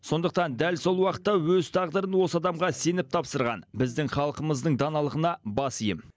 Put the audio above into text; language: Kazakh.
сондықтан дәл сол уақытта өз тағдырын осы адамға сеніп тапсырған біздің халқымыздың даналығына бас ием